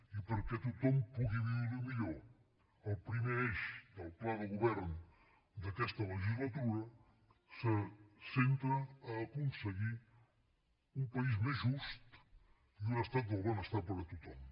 i perquè tothom pugui viure millor el primer eix del pla de govern d’aquesta legislatura se centra a aconseguir un país més just i un estat del benestar per a tothom